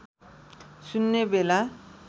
सुन्ने बेला